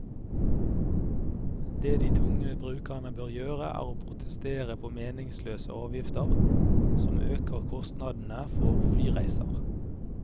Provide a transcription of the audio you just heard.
Det de tunge brukerne bør gjøre, er å protestere på meningsløse avgifter som øker kostnadene for flyreiser.